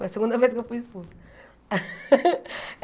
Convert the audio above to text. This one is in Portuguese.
Foi a segunda vez que eu fui expulsa.